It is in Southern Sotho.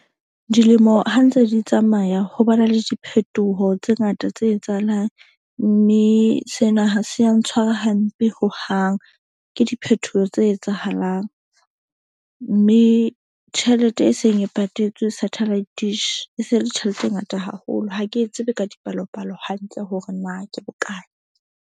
Dilemo ha ntse di tsamaya ho bana le diphetoho tse ngata tse etsahalang. Mme sena ha se ya ntshwara hampe hohang. Ke diphethoho tse etsahalang, mme tjhelete e seng e patetswe satellite dish e se le tjhelete e ngata haholo. Ha ke tsebe ka dipalopalo hantle hore na ke bokae.